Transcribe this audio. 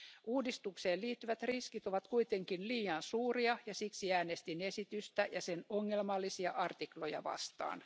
Uudistukseen liittyvät riskit ovat kuitenkin liian suuria, ja siksi äänestin esitystä ja sen ongelmallisia artikloja vastaan.